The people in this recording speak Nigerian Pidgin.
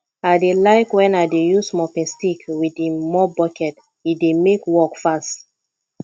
i dey like wen i dey use mopping stick wit im mop bucket e dey mek work fast